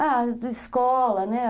Ah, de escola, né?